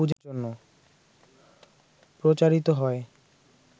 প্রচারিত হয়